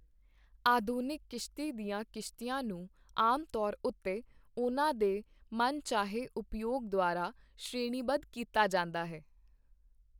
ਆਧੁਨਿਕ ਕਿਸ਼ਤੀ ਦੀਆਂ ਕਿਸ਼ਤੀਆਂ ਨੂੰ ਆਮ ਤੌਰ ਉੱਤੇ ਉਹਨਾਂ ਦੇ ਮਨਚਾਹੇ ਉਪਯੋਗ ਦੁਆਰਾ ਸ਼੍ਰੇਣੀਬੱਧ ਕੀਤਾ ਜਾਂਦਾ ਹੈ।